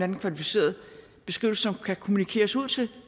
en kvalificeret beskrivelse som kan kommunikeres ud til